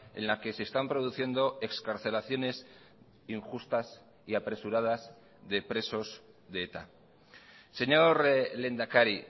en la que se están produciendo excarcelaciones injustas y apresuradas de presos de eta señor lehendakari